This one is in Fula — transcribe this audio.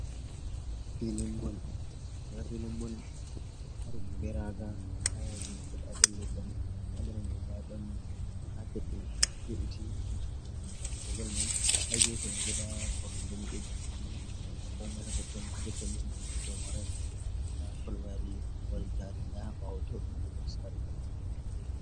nda filin mbol ɗo taari ɗum be raaga haa yaasi filin mbol ɗon leggal haa nder may, ndaa ɗon kaapet ɗo we'tii jey fiigo bol may, haa geefe koromje ni ɗo jeeri wola komay hatotton ni himɓe may waray, haa jotta ni, nda pol wari taari. Nda haa ɓaawo too ɗon woodi saare daneejm feere.